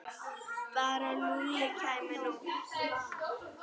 Bara að Lúlli kæmi nú.